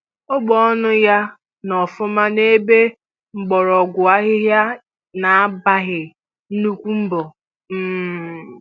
Ọgụ ọnụ ya nọ ọfụma na-ebe mgbọrọgwụ ahịhịa na-agbaghị nnukwu mbọ um